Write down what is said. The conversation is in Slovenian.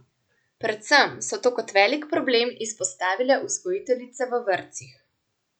Predvsem so to kot velik problem izpostavile vzgojiteljice v vrtcih.